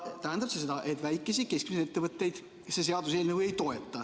See tähendab seda, et väikesi ja keskmisi ettevõtteid see seaduseelnõu ei toeta.